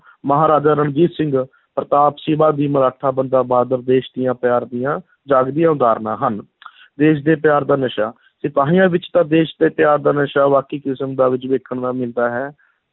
ਮਹਾਰਾਜਾ ਰਣਜੀਤ ਸਿੰਘ, ਪ੍ਰਤਾਪ, ਸ਼ਿਵਾ ਜੀ ਮਰਾਠਾ, ਬੰਦਾ ਬਹਾਦਰ ਦੇਸ਼ ਦੀਆਂ ਪਿਆਰ ਦੀਆਂ ਜਾਗਦੀਆਂ ਉਦਾਹਰਨਾਂ ਹਨ ਦੇਸ਼ ਦੇ ਪਿਆਰ ਦਾ ਨਸ਼ਾ, ਸਿਪਾਹੀਆਂ ਵਿੱਚ ਤਾਂ ਦੇਸ਼ ਦੇ ਪਿਆਰ ਦਾ ਨਸ਼ਾ ਬਾਕੀ ਕਿਸਮ ਦਾ ਵਿੱਚ ਵੇਖਣ ਦਾ ਮਿਲਦਾ ਹੈ।